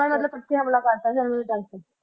ਮਤਲਬ ਇਕੱਠੀ ਹਮਲਾ ਕਰ ਦਿੱਤਾ ਸੀ ਉਨਾ ਦੇ ਦਲ ਤੇ